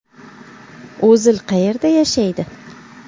O‘zil qayerda yashaydi?